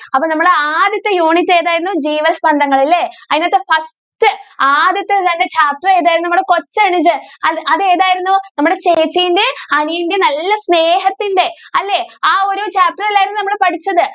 അപ്പോ നമ്മുടെ ആദ്യത്തെ unit ഏതായിരുന്നു ജീവസ്പന്ദങ്ങൾ അല്ലെ അതിൻ്റകത്ത് first ആദ്യത്തെ തന്നെ കഥ ഏതായിരുന്നു നമ്മുടെ കൊച്ചനുജൻ അത് ഏതായിരുന്നു നമ്മുടെ ചേച്ചിന്റെയും അനിയന്റെയും നല്ല സ്നേഹത്തിന്റെ അല്ലെ ആ ഒരു കഥ അല്ലായിരുന്നോ നമ്മൾ പഠിച്ചത്.